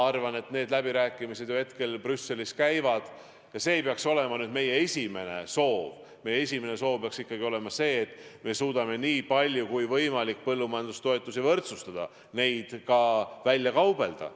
Aga need läbirääkimised ju Brüsselis käivad ja meie esimene soov peaks ikkagi olema see, et me suudame nii palju kui võimalik põllumajandustoetusi võrdsustada, neid välja kaubelda.